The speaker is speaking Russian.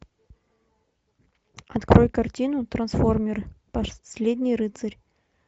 открой картину трансформеры последний рыцарь